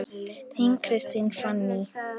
Þín, Kristín Fanný.